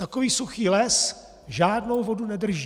Takový suchý les žádnou vodu nedrží.